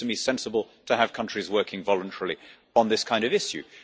It seems to me sensible to have countries working voluntarily on this kind of issue.